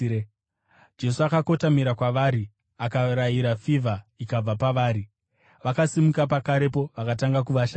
Saka akakotamira kwavari akarayira fivha, ikabva pavari. Vakasimuka pakarepo vakatanga kuvashandira.